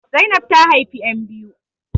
Zainab ta haifi ƴan biyu